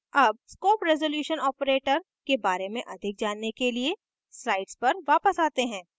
अब scope resolution operator के बारे में अधिक जानने के लिए slides पर वापस आते हैं